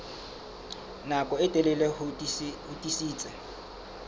nako e telele ho tiisitse